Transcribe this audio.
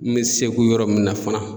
N mi segu yɔrɔ min na fana